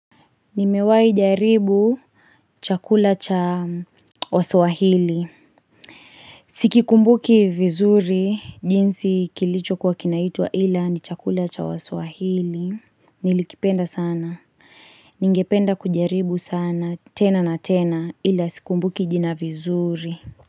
Nimewai jaribu chakula cha waswahili Sikikumbuki vizuri jinsi kilicho kwa kinaitwa ila ni chakula cha wasawahili Nilikipenda sana Ningependa kujaribu sana tena na tena ila sikumbuki jina vizuri.